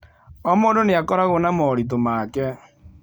O mũndũ nĩ akoragwo na moritũ make